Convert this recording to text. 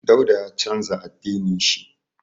Dauda ya canza addinin shi.